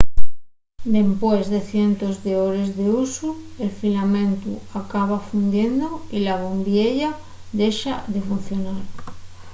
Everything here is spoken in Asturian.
dempués de cientos d'hores d'usu el filamentu acaba fundiendo y la bombiella dexa de funcionar